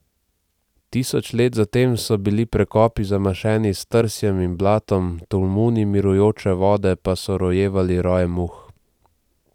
Tisoč let zatem so bili prekopi zamašeni s trsjem in blatom, tolmuni mirujoče vode pa so rojevali roje muh.